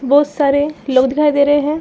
बहुत सारे लोग दिखाई दे रहे हैं।